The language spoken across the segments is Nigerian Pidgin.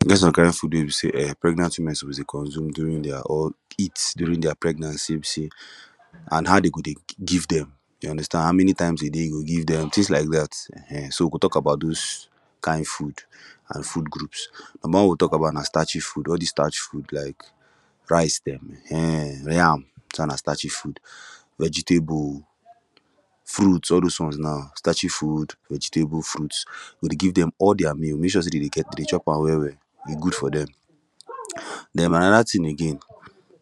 E get some kind food wey be say um pregnant women suppose dey consume during dia or eat during dia pregnancy wey be say and how dem go dey give them you understand how many times a day you go dey give dem tins like dat um so we go tok about those kind food and food groups number one wey we go tok about na starchy food all dis starch food like rice dem um yam dis one na starchy food vegetable fruit all those one now starchy food vegetable fruits you go dey give dem all dia meal mek sure say dem dey get dem dey chop am well well e good for dem den anoda tin again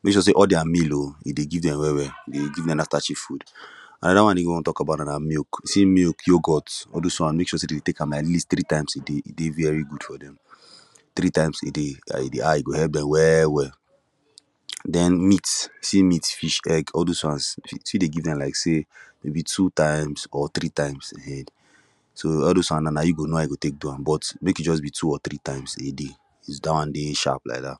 mek sure say all dia meal oo you dey give dem well well you go dey give dem dat starchy food anoda one again we wey we wan tok about na milk you see milk yoghurt all those one Mek sure say dey de tek am atleast three times a day e dey very good for them three times a day e go help them well well then meat you see meat fish egg all those ones you fit dey give dem like say maybe two times or three times um so all those one now na you go know how you go Tek do am but make e just be two or three times a day is dat one dey sharp like dat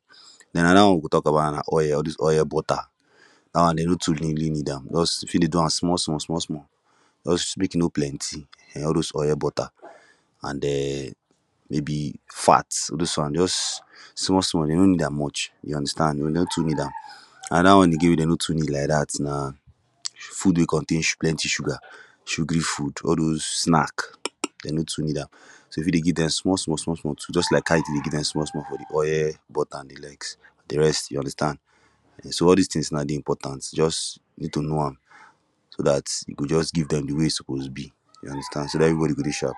then anoda one we go tok about na oil all dis oil butter dat one dem no too limli need am just you fit dey do am small small small small just mek e no plenty um all those oil butter and um maybe fat all those one just small small dem no need am much you understand dem no too need am anoda one again wey dem no too need like dat na food wey contain plenty sugar sugary food all those snack um dem no too need am so you fit dey give dem small small small small too just like how you Tek dey give dem small small for de oil butter an de likes de rest you understand okay so all dis tins dey important just need to know am so dat you go just give dem de way e suppose be you understand so dat everybody go dey sharp